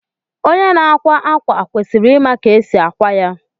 Onye na-akwa ákwà kwesịrị ịma ka esi akwa ya